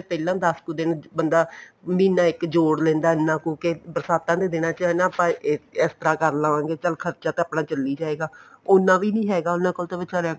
ਪਹਿਲਾਂ ਦਸ ਕੁ ਦਿਨ ਬੰਦਾ ਮਹੀਨਾ ਇੱਕ ਜੋੜ ਲੈਂਦਾ ਇੰਨਾ ਕੁ ਕੇ ਬਰਸਾਤਾਂ ਦੇ ਦਿਨਾ ਚ ਆਪਾਂ ਇਸ ਤਰ੍ਹਾਂ ਕਰ ਲਵਾਂਗੇ ਚਲ ਖਰਚਾ ਤੇ ਆਪਣਾ ਚੱਲੀ ਜਾਏਗਾ ਉਨਾ ਵੀ ਹੈਗਾ ਉਹਨਾ ਕੋਲ ਤੇ ਵਿਚਾਰਿਆਂ ਕੋਲ